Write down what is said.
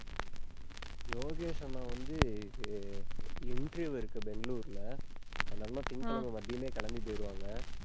யோகேஷ் அண்ணா வந்து, அஹ் interview இருக்கு பெங்களூர்ல. அந்த அண்ணா திங்கட்கிழமை மதியமே கிளம்பி போயிடுவாங்க.